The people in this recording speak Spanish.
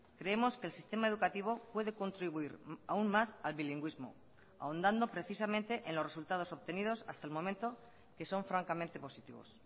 creemos que el sistema educativo puede contribuir aun más al bilingüismo ahondando precisamente en los resultados obtenidos hasta el momento que son francamente positivos